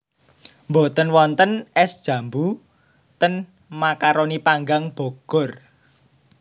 Mboten wonten es jambu ten Macaroni Panggang Bogor